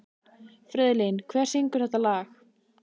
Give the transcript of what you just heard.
Friðlín, hver syngur þetta lag?